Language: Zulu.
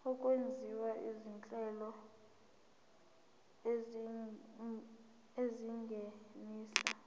okwenziwa izinhlelo ezingenisa